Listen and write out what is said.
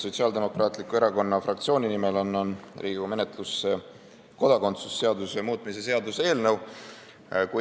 Sotsiaaldemokraatliku Erakonna fraktsiooni nimel annan Riigikogu menetlusse kodakondsuse seaduse muutmise seaduse eelnõu.